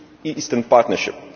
Eastern Partnership